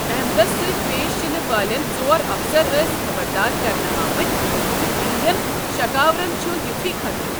احمدس سۭتۍ پیش یِنہٕ والٮ۪ن ژور افسر ٲس خبردار کرنہٕ آمٕتۍ زِ تہنٛدٮ۪ن شَکاوَرن چھُ یُتھُے خَطرٕ۔